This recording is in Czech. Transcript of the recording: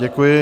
Děkuji.